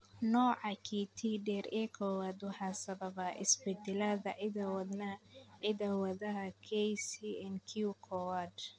Nooca QT dheer ee kowad waxaa sababa isbeddellada hidda-wadaha KCNQ kowad.